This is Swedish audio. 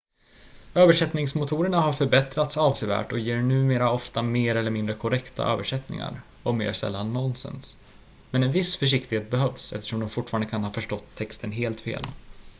översättningsmotorerna har förbättrats avsevärt och ger numera ofta mer eller mindre korrekta översättningar och mer sällan nonsens men en viss försiktighet behövs eftersom de fortfarande kan ha förstått texten helt fel